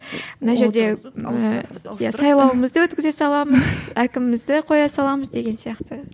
мына жерде сайлауымызды өткізе саламыз әкімімізді қоя саламыз деген сияқты